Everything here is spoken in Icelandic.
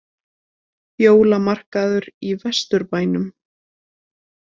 Jólamarkaður í Vesturbænum